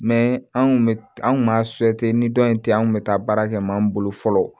anw kun bɛ an kun b'a ni dɔn in tɛ an kun bɛ taa baara kɛ maa min bolo fɔlɔ